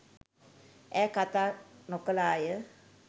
ඈ කතා නොකළාය.